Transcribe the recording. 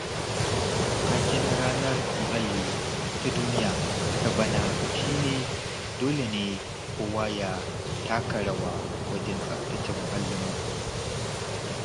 Taken Ranar Muhalli ta Duniya ta bana shi ne, ''Dole ne kowa ya taka rawa wajen tsaftace muhallinmu''.